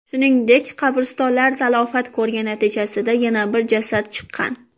Shuningdek, qabristonlar talafot ko‘rgani natijasida yana bir jasad chiqqan.